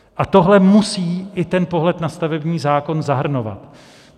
A tohle musí i ten pohled na stavební zákon zahrnovat.